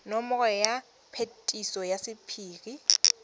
nomoro ya phetiso ya sephiri